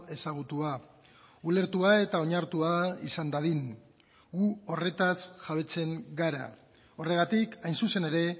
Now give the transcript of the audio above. ezagutua ulertua eta onartua izan dadin gu horretaz jabetzen gara horregatik hain zuzen ere